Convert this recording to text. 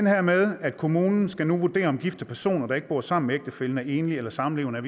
her med at kommunen nu skal vurdere om gifte personer der ikke bor sammen med ægtefællen er enlige eller samlevende